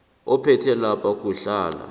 ophethe lapha kuhlala